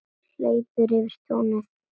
Hleypur yfir túnið.